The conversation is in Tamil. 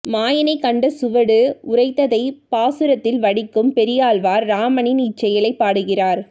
மாயனைக் கண்ட சுவடு உரைத்ததைப் பாசுரத்தில் வடிக்கும் பெரியாழ்வார் இராமனின் இச் செயலைப் பாடுகிறார்